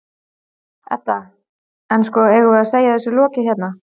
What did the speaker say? Edda: En, sko, eigum við að segja þessu lokið hérna?